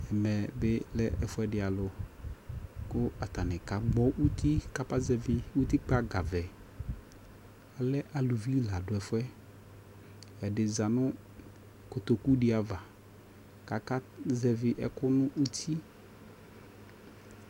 ɛmɛ bi lɛ ɛƒʋɛdi alʋ kʋ atani ka gbɔ ʋti kʋ atani ba zɛvi ʋtikpa ga vɛ, alɛ alʋvi ni ladʋ ɛƒʋɛ, ɛdi zanʋ kɔtɔkʋ di aɣa kʋ aka zɛvi ɛkʋ nʋ ʋti